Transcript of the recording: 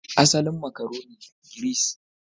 Asalin makaroni, Giris